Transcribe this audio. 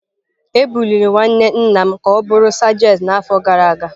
Ebuliri nwanne nna m ka ọ bụrụ sajentị n’afọ gara aga.